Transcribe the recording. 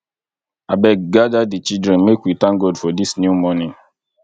abeg gada di children make we thank god for dis new morning